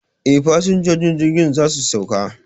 E, fasinjojin jirgin za su sauka